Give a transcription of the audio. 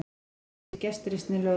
Nýtti sér gestrisni lögreglu